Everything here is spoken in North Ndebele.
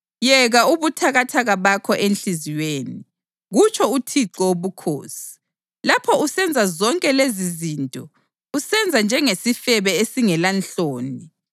Yeka ubuthakathaka bakho enhliziyweni, kutsho uThixo Wobukhosi, lapho usenza zonke lezizinto, usenza njengesifebe esingelanhloni!